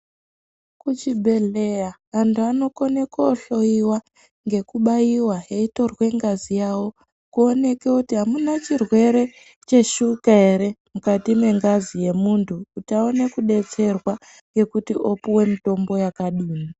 Kuchibhedhera antu anokone kohloiwa ngekubaiwahee eitorwe ngazi yawo kuoneke kuti amuna chirwere cheshuka ere mukati mengazi yemuntu Kuti aone kudetserwa ngekuti opuwe mitombo yakadini.